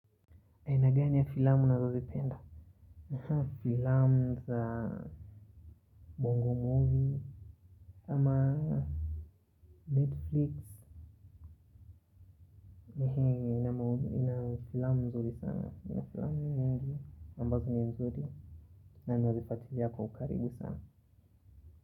Aina gani ya filamu unazozipenda. Filamu za Bongo movie Ama Netflix Ina filamu mzuri sana. Ina filamu mingi ambazo ni mzuri. Na ninazifuatilia kwa ukaribu sana.